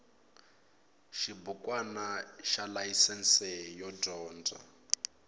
xibukwana xa layisense yo dyondza